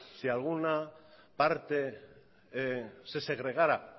si alguna parte se segregara